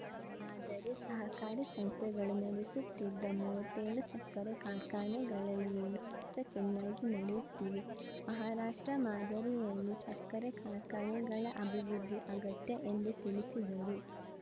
ಆದರೆ ಸಹಕಾರಿ ಸಂಸ್ಥೆಗಳು ನಡೆಸುತ್ತಿದ್ದ ಮೂವತ್ತೆಳು ಸಕ್ಕರೆ ಕಾರ್ಖಾನೆಗಳಲ್ಲಿ ಏಳು ಮಾತ್ರ ಚೆನ್ನಾಗಿ ನಡೆಯುತ್ತಿವೆ ಮಹಾರಾಷ್ಟ್ರ ಮಾದರಿಯಲ್ಲಿ ಸಕ್ಕರೆ ಕಾರ್ಖಾನೆಗಳ ಅಭಿವೃದ್ಧಿ ಅಗತ್ಯ ಎಂದು ತಿಳಿಸಿದರು